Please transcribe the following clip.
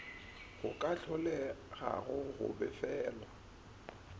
go ka hlolegago go befelwa